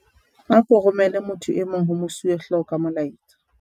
ako romele motho e mong ho mosuwehlooho ka molaetsa